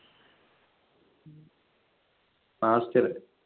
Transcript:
Master.